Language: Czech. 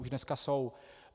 Už dneska jsou.